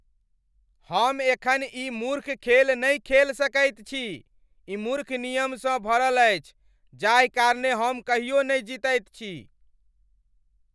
हम एखन ई मूर्ख खेल नहि खेल सकैत छी। ई मूर्ख नियमसँ भरल अछि जाहि कारणेँ हम कहियो नहि जीतैत छी।